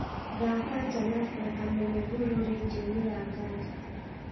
thaaka jalas na kamene goro rĩndiũ-inĩ ya ngari